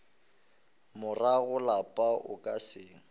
morago lapa o ka se